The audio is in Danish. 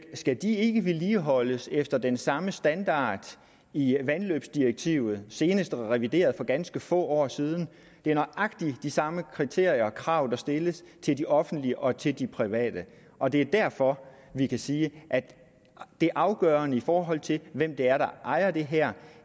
skal de ikke vedligeholdes efter den samme standard i vandløbsdirektivet senest revideret for ganske få år siden det er nøjagtig de samme kriterier og krav der stilles til de offentlige og til de private og det er derfor vi kan sige at det afgørende i forhold til hvem det er der ejer det her